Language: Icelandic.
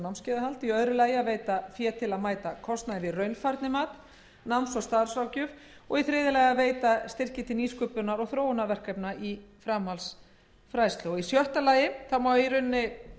og námskeiðahald b veita fé til að mæta kostnaði við raunfærnimat og náms og starfsráðgjöf og c veita styrki til nýsköpunar og þróunarverkefna í framhaldsfræðslu sjötta